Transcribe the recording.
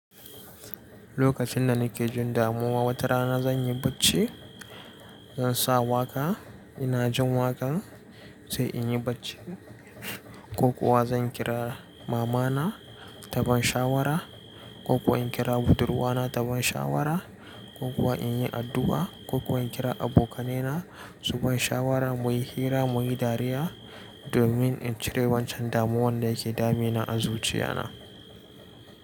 Lokacin da nake jin damuwa, wata rana zan yi bacci, zan sa waƙa ina jin waƙan sai in yi bacci ko kuwa zan kira mama na taban shawara ko kuwa in kira budurwa na taban shawara ko kuwa in yi addu'a ko kuwa in kira abokanai na su bani shawara muyi hira muyi dariya domin in cire wancan damuwan da yake dame ni a zuciya na.